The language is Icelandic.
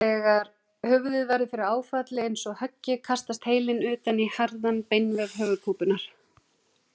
Þegar höfuðið verður fyrir áfalli eins og höggi kastast heilinn utan í harðan beinvef höfuðkúpunnar.